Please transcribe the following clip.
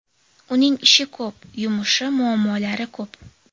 Uning ishi ko‘p, yumushi, muammolari ko‘p.